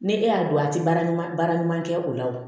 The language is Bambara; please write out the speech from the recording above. Ni e y'a dɔn a tɛ baara ɲuman baara ɲuman kɛ o la o